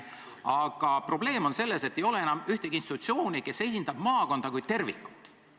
Aga probleem on selles, et ei ole ühtegi institutsiooni, mis esindab maakonda kui tervikut.